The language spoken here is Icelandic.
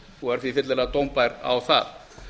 og er því fyllilega dómbær á það